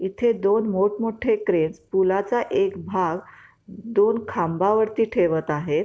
इथे दोन मोठ मोठे क्रेन्स पुलाचा एक भाग दोन खांबावरती ठेवत आहे.